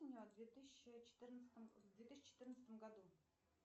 в две тысячи четырнадцатом в две тысячи четырнадцатом году